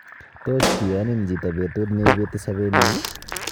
Tos kiyon hin chito petu neipeti sopet nyi?